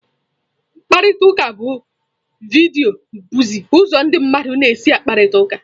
Mkparịta ụka vidiyo bụzi ụzọ ndị mmadụ na-esi akparịta ụka.